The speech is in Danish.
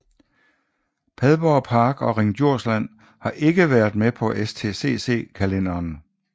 Padborg Park og Ring Djursland har ikke været med på STCC kalenderen